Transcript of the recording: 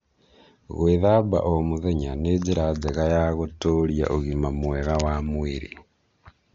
Gwĩthamba o mũthenya nĩ njĩra njega ya gũtũũria ũgima mwega wa mwĩrĩ.